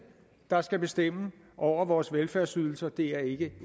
der skal bestemme over vores velfærdsydelser det er ikke